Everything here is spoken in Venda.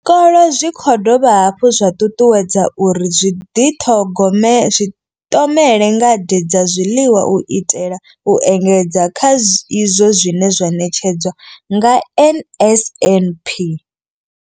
Zwikolo zwi khou dovha hafhu zwa ṱuṱuwedzwa uri zwi ḓi ṱhogome zwi ṱomele ngade dza zwiḽiwa u itela u engedza kha izwo zwine zwa ṋetshedzwa nga NSNP.